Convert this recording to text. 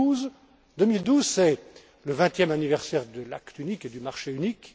2012. En 2012, c'est le vingtième anniversaire de l'acte unique et du marché unique.